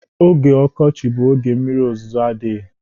Oge ọkọchị bụ oge mmiri ozuzo adịghị.